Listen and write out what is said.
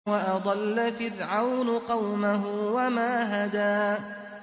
وَأَضَلَّ فِرْعَوْنُ قَوْمَهُ وَمَا هَدَىٰ